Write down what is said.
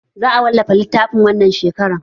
Za a wallafa littafin wannan shekarar